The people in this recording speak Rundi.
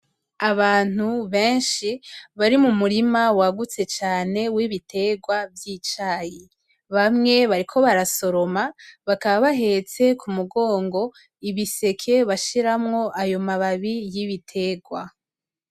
Abantu benshi bari mu murima wagutse cane w' ibiterwa vyicayi bamwe bariko barasoroma bakaba bahetse ku mugongo ibiseke bashiramwo ayo mababi y'ibiterwa.